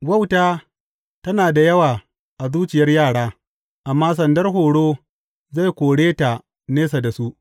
Wauta tana da yawa a zuciyar yara, amma sandar horo zai kore ta nesa da su.